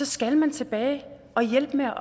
skal man tilbage og hjælpe med at